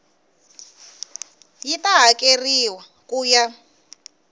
yi ta hakeriwa ku ya